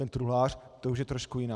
Ten truhlář, to už je trošku jiná.